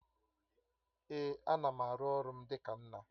Èé, ana m aru ọrụ m dịka nna